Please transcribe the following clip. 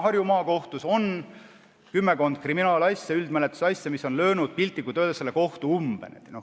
Harju Maakohtus on praegu kümmekond kriminaalasja, üldmenetluse asja, mis on löönud piltlikult öeldes selle kohtu umbe.